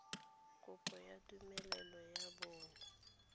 kopo ya tumelelo ya bonno